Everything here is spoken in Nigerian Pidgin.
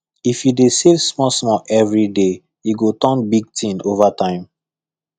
if you dey save smallsmall every day e go turn big thing over time